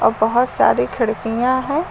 और बहोत सारी खिड़कियां हैं।